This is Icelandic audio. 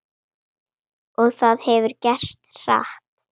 Og það hefur gerst hratt.